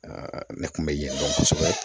ne kun bɛ yen dɔn kosɛbɛ